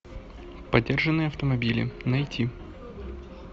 поддержанные автомобили найти